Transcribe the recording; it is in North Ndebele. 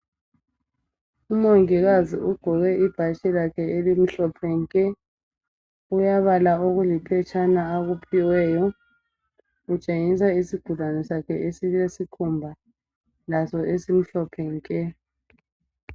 Umongikazi ugqoke ibhatshi lakhe elimhlophe nke! Uyabala okuliphetshana akuphiweyo. Utshengisa isigulane sakhe esilesikhumba laso esimhlophe nke!